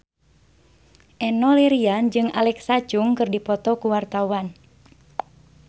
Enno Lerian jeung Alexa Chung keur dipoto ku wartawan